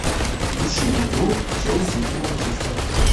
включи игру челси и манчестера